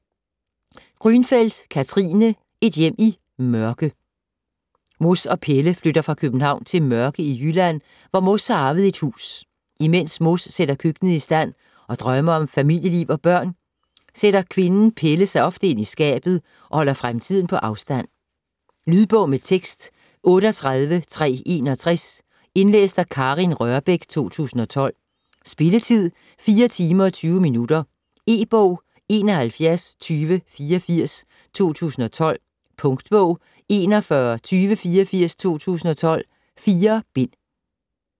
Grünfeld, Katrine: Et hjem i Mørke Mos og Pelle flytter fra København til Mørke i Jylland, hvor Mos har arvet et hus. Imens Mos sætter køkkenet i stand og drømmer om familieliv og børn, sætter kvinden Pelle sig ofte ind i skabet og holder fremtiden på afstand. Lydbog med tekst 38361 Indlæst af Karin Rørbech, 2012. Spilletid: 4 timer, 20 minutter. E-bog 712084 2012. Punktbog 412084 2012. 4 bind.